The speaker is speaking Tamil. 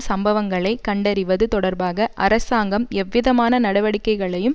சம்பவங்களை கண்டறிவது தொடர்பாக அரசாங்கம் எவ்விதமான நடவடிக்கைகளையும்